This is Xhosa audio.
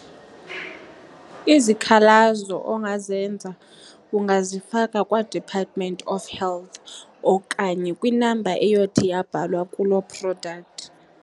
Izikhalazo ongazenza ungazifaki kwaDepartment of Health okanye kwi-number eyothi yabhalwa kuloo product.